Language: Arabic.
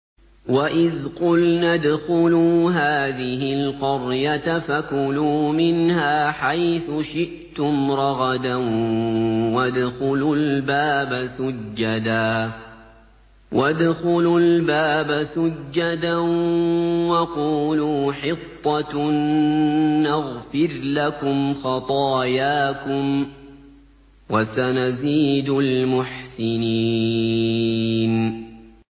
وَإِذْ قُلْنَا ادْخُلُوا هَٰذِهِ الْقَرْيَةَ فَكُلُوا مِنْهَا حَيْثُ شِئْتُمْ رَغَدًا وَادْخُلُوا الْبَابَ سُجَّدًا وَقُولُوا حِطَّةٌ نَّغْفِرْ لَكُمْ خَطَايَاكُمْ ۚ وَسَنَزِيدُ الْمُحْسِنِينَ